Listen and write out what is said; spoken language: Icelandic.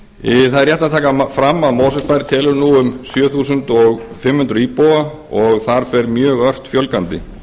er rétt að taka fram að mosfellsbær telur nú um sjö þúsund fimm hundruð íbúa og þar fer mjög ört fjölgandi